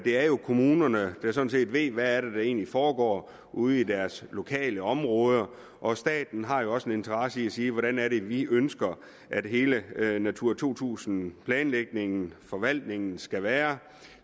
er jo kommunerne der sådan set ved hvad der egentlig foregår ude i deres lokale områder og staten har jo også en interesse i at sige hvordan er det vi ønsker at hele natura to tusind planlægningen og forvaltningen skal være